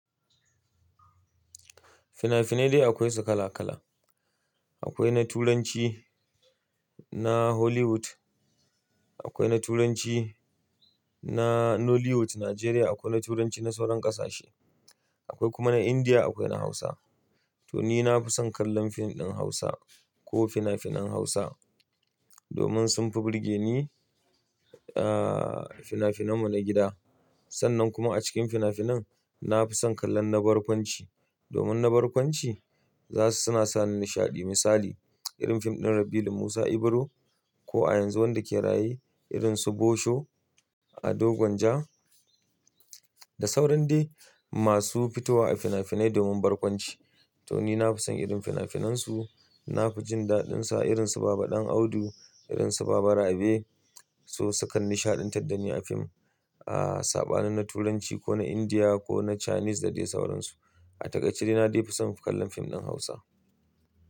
Fina-finai dai akwai su kala-kala. Akwai na Turanci, na Hollywood, akwai na Turanci, na Nollywood Nigeria, akwai na Turanci na sauran ƙasashe, akwai kuma na Indiya, akwai na Hausa. To ni nafi son kallon fim ɗin Hausa ko fina-finan Hausa domin sun fi burge ne. Ah, fina-finan mu na gida. Sannan kuma a cikin fina-finan nafi son kallon na barkwanci domin na barkwanci za su, suna sani nishaɗi. Misali irin fim ɗin Rabilu Musa Ibro ko a yanzu wanda ke raye irin su Bosho, Ado Gwanja da sauran dai masu fitowa a fina-finai domin barkwanci. To nina fi son irin fina-finan su, na fi jin daɗin su irin su Baba Ɗan Audu, irin su Baba Rabe su suka nishaɗantar da ni a fim, ah, sabani na Turanci ko na Indiya ko na Chinese da dai sauran su. A takaice dai na dai fi son mu kallon fim ɗin Hausa.